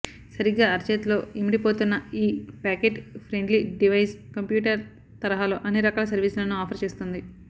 సరిగ్గా అరచేతిలో ఇమిడిపోతున్న ఈ పాకెట్ ఫ్రెండ్లీ డివైస్ కంప్యూటర్ తరహాలో అన్ని రకాల సర్వీసులను ఆఫర్ చేస్తోంది